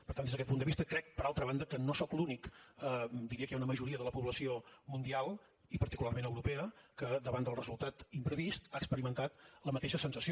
per tant des d’aquest punt de vista crec per altra banda que no sóc l’únic diria que hi ha una majoria de la població mundial i particularment europea que davant del resultat imprevist ha experimentat la mateixa sensació